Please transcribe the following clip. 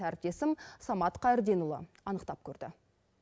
әріптесім самат қайырденұлы анықтап көрді